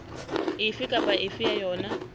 efe kapa efe ya yona